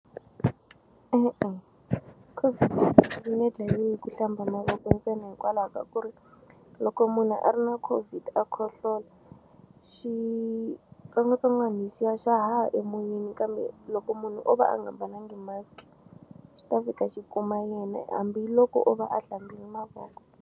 E-e COVID yi nge dlayiwi hi ku hlamba mavoko ntsena hikwalaho ka ku ri loko munhu a ri na COVID a khohlola xitsongwatsongwana lexiya xa haha emoyeni kambe loko munhu o va a nga mbalangi mask xi ta fika xi kuma yena hambiloko o va a hlambini mavoko.